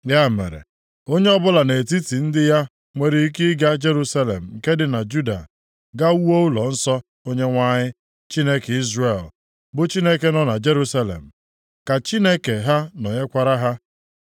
Ya mere, onye ya ọbụla nʼetiti ndị ya nwere ike ịga Jerusalem nke dị na Juda, gaa wuo ụlọnsọ Onyenwe anyị, Chineke Izrel, bụ Chineke nọ na Jerusalem. Ka Chineke ha nọnyekwara ha.